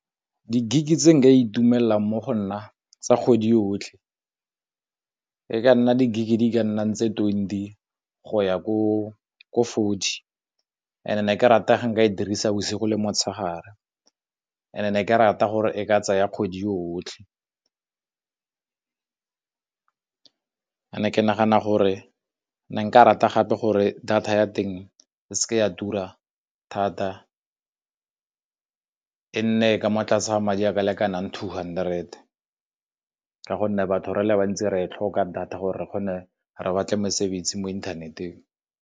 Di-gig tse nka itumelela mo go nna tsa kgwedi yotlhe e ka nna di-gig di ka nnang tse twenty go ya ko forty and-e ke rata ga nka e dirisa bosigo le motshegare, and-e ne ke rata gore e ka tsaya kgwedi yotlhe. Ke nagana gore nka rata gape gore data ya teng e seke ya tura thata e nne e ka mo tlase ga madi a ka lekanang two hundred, ka gonne batho re le bantsi re e tlhoka data gore re kgone re batle mosebetsi mo internet-eng.